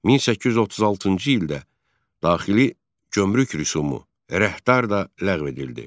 1836-cı ildə daxili gömrük rüsumu rəhdar da ləğv edildi.